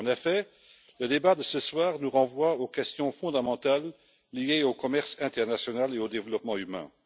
En effet, le débat de ce soir nous renvoie aux questions fondamentales liées au commerce international et au développement humain.